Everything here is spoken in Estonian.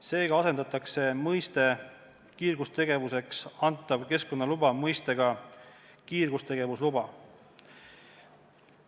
Seega asendatakse mõiste "kiirgustegevuseks antav keskkonnaluba" mõistega "kiirgustegevusluba".